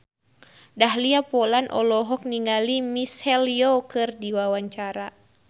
Dahlia Poland olohok ningali Michelle Yeoh keur diwawancara